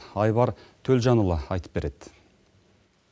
айбар төлжанұлы айтып береді